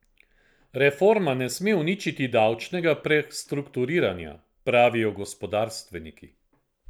Reforma ne sme uničiti davčnega prestrukturiranja, pravijo gospodarstveniki.